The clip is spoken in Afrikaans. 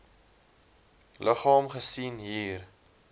liggaam gesien hier